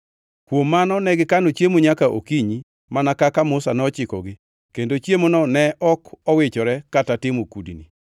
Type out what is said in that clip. Kuom mano negikano chiemo nyaka okinyi mana kaka Musa nochikogi kendo chiemono ne ok owichore kata timo kudni.